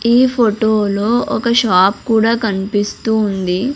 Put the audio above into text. ఈ ఫోటోలో ఒక షాప్ కూడా కనిపిస్తూ ఉంది.